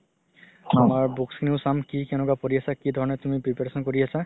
আমাৰ books খিনিও চাম কি কেনেকুৱা পঢ়ি আছে কি ধৰণে তুমি preparation কৰি আছা